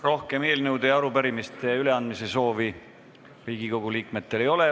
Rohkem eelnõude ja arupärimiste üleandmise soovi Riigikogu liikmetel ei ole.